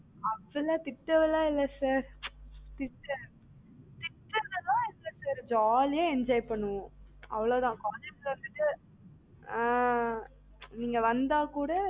அதெல்லாம் திட்டறதுலாம் இல்ல sir திட்ற திட்டறதுலாம் இல்ல sir jolly ஆ enjoy பண்ணுவோம், அவ்ளோ தான் ஆஹ் நீங்க வந்தாக்கூட